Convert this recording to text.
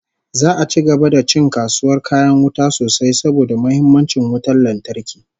Za'a ci gaba da ci kasuwar kayan wuta sosai saboda muhimmancin wutar lantarki